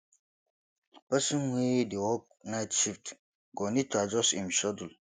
person wey dey work night shift go need to adjust im schedule